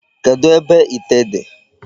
Kedụ ebe ite dị?